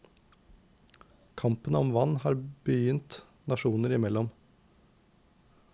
Kampen om vann har begynt nasjoner imellom.